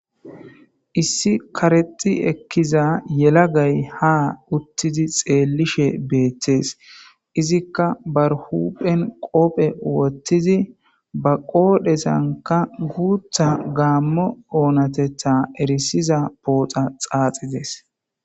Issi karexi ekiza yelagay ha utidi xelushe betes izika ba huphphe qobe wotidi ba qodhenkka ba onateta erisida guththa poxa xaxides